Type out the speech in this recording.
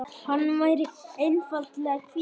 Hann væri einfaldlega hvíld.